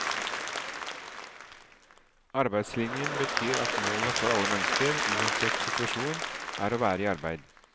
Arbeidslinjen betyr at målet for alle mennesker, uansett situasjon, er å være i arbeid.